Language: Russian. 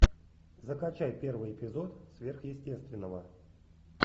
закачай первый эпизод сверхъестественного